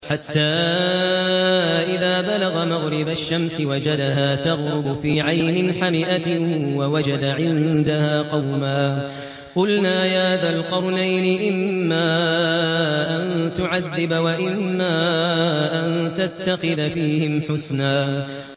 حَتَّىٰ إِذَا بَلَغَ مَغْرِبَ الشَّمْسِ وَجَدَهَا تَغْرُبُ فِي عَيْنٍ حَمِئَةٍ وَوَجَدَ عِندَهَا قَوْمًا ۗ قُلْنَا يَا ذَا الْقَرْنَيْنِ إِمَّا أَن تُعَذِّبَ وَإِمَّا أَن تَتَّخِذَ فِيهِمْ حُسْنًا